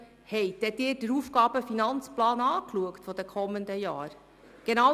Haben Sie sich denn den AFP der kommenden Jahre angesehen?